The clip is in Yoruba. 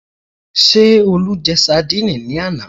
Ṣé Olú jẹ sandíìnì ní àná?